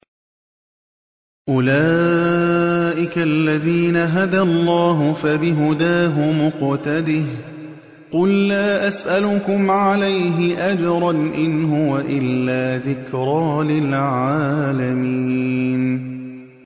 أُولَٰئِكَ الَّذِينَ هَدَى اللَّهُ ۖ فَبِهُدَاهُمُ اقْتَدِهْ ۗ قُل لَّا أَسْأَلُكُمْ عَلَيْهِ أَجْرًا ۖ إِنْ هُوَ إِلَّا ذِكْرَىٰ لِلْعَالَمِينَ